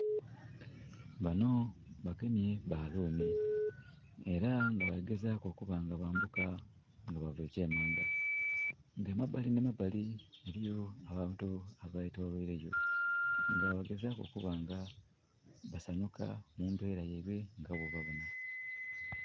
Bano bagemye baluuni era nga bali gezaku okuba nga bambuka nga baava ekyemanga nga emabali nhi emabali eriyo abantu abetolweire yo nga balikugezaku okuba nga basanhuka mumbera yaibwe nga bwobabona.